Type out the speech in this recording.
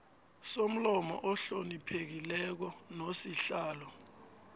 somlomo ohloniphekileko nosihlalo